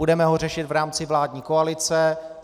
Budeme ho řešit v rámci vládní koalice.